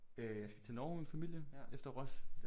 Øh jeg skal til Norge med min familie efter Ros